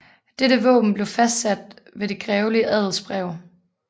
Dette våben blev fastsat ved det grevelige adelsbrev